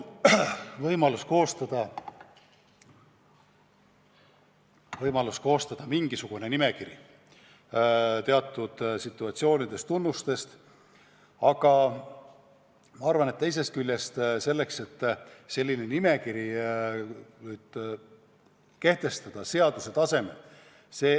Kindlasti on võimalik koostada mingisugune nimekiri teatud situatsioonidest, tunnustest, aga ma arvan, et pole kuigi hea mõte kehtestada selline nimekiri seaduse tasemel.